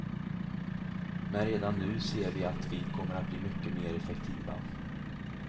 Men redan nu ser vi att vi kommer att bli mycket mer effektiva.